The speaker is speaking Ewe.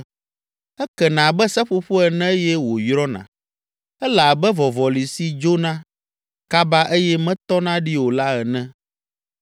Ekena abe seƒoƒo ene eye wòyrɔna, ele abe vɔvɔli si dzona kaba eye metɔna ɖi o la ene.